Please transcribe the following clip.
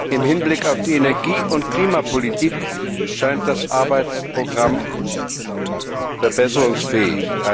Im Hinblick auf die Energie und Klimapolitik scheint das Arbeitsprogramm verbesserungsfähig.